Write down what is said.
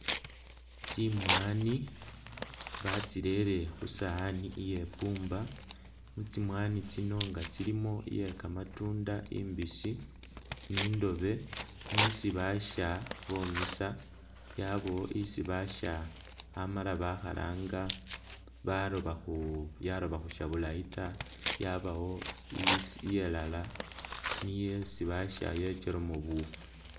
Tsimwani batsirere khusowani iye bumba tsimwani tsilimo nga iye kamatunda imbisi, ni ndobe nisi baasha bomisa , yabaawo isi baasha amala bomiisa balu yaloba khusha bulaayi taa, yabaawo iya lala iye isi baasha yechelamo buufu